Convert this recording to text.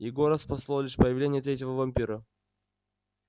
егора спасло лишь появление третьего вампира